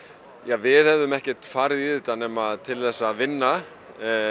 við hefðum ekki farið í þetta nema til þess að vinna